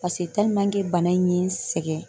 Pase bana in ye n sɛgɛn